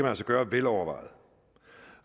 altså gøre velovervejet